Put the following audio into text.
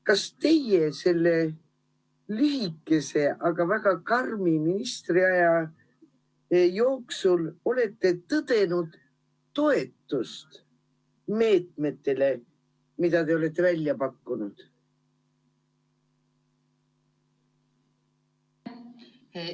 Kas te selle lühikese, aga väga karmi ministritöö jooksul olete tõdenud toetust meetmetele, mida te olete välja pakkunud?